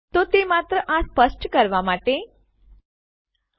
તો તે માત્ર આ સ્પષ્ટ કરવા માટે હતું